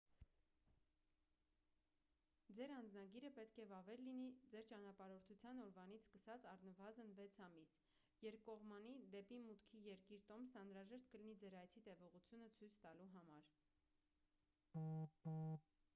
ձեր անձնագիրը պետք է վավեր լինի ձեր ճանապարհորդության օրվանից սկսած առնվազն 6 ամիս: երկկողմանի/դեպի մուտքի երկիր տոմսն անհրաժեշտ կլինի ձեր այցի տևողությունը ցույց տալու համար: